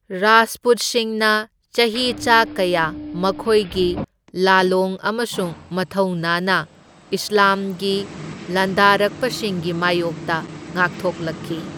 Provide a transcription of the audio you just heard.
ꯔꯥꯖꯄꯨꯠꯁꯤꯡꯅ ꯆꯍꯤ ꯆꯥ ꯀꯌꯥ ꯃꯈꯣꯢꯒꯤ ꯂꯥꯂꯣꯡ ꯑꯃꯁꯨꯡ ꯃꯊꯧꯅꯥꯅ ꯏꯁꯂꯥꯝꯒꯤ ꯂꯥꯟꯗꯥꯔꯛꯄꯁꯤꯡꯒꯤ ꯃꯥꯢꯌꯣꯛꯇ ꯉꯥꯛꯊꯣꯛꯂꯛꯈꯤ꯫